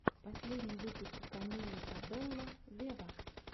последний выпуск камилы кабелло вево